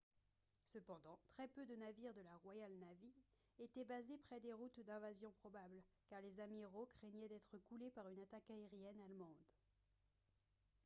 cependant très peu de navires de la royal navy étaient basés près des routes d'invasion probables car les amiraux craignaient d'être coulés par une attaque aérienne allemande